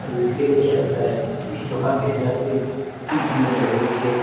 के लिए किया जाता है इस दुकान के सजाते ही कितने सुंदर रहे देखिए ।